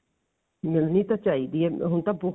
ਮਿਲਣੀ ਤਾਂ ਚਾਹੀਦੀ ਹੈ ਹੁਣ ਤਾਂ ਬਹੁਤ